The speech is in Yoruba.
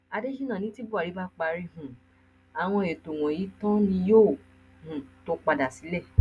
adésínà ní tí buhari bá parí um àwọn ètò wọnyí tán ni yóò um tóó padà sílé